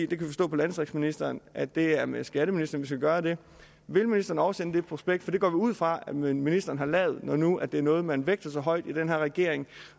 vi kan forstå på landdistriktsministeren at det er med skatteministeren vi skal gøre det vil ministeren oversende det prospekt for det går vi ud fra at ministeren har lavet når nu det er noget man vægter så højt i den her regering